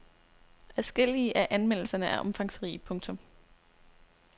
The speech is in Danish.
Adskillige af anmeldelserne er omfangsrige. punktum